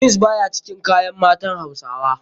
Jeans baya cikin kayan matan hausawa.